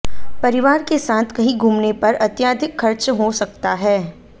परिवार के साथ कहीं घूमने पर अत्याधिक खर्च हो सकता है